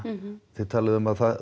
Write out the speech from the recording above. þið talið um að